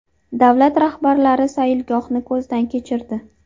Davlat rahbarlari sayilgohni ko‘zdan kechirdi.